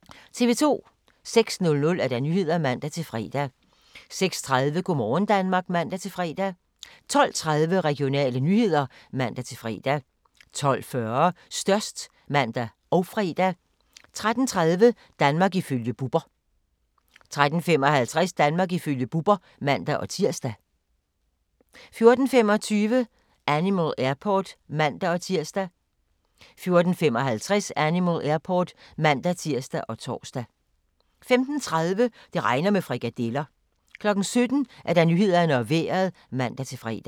06:00: Nyhederne (man-fre) 06:30: Go' morgen Danmark (man-fre) 12:30: Regionale nyheder (man-fre) 12:40: Størst (man og fre) 13:30: Danmark ifølge Bubber 13:55: Danmark ifølge Bubber (man-tir) 14:25: Animal Airport (man-tir) 14:55: Animal Airport (man-tir og tor) 15:30: Det regner med frikadeller 17:00: Nyhederne og Vejret (man-fre)